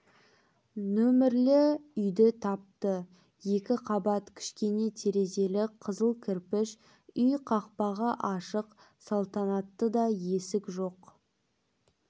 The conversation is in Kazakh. нөмерлі үйді тапты екі қабат кішкене терезелі қызыл кірпіш үй қақпағы ашық салтанаттыда есік жоқ